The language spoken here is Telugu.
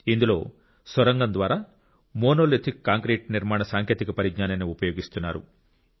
ఇందులో సొరంగం ద్వారా మోనోలిథిక్ కాంక్రీట్ నిర్మాణ సాంకేతిక పరిజ్ఞానాన్ని ఉపయోగిస్తున్నారు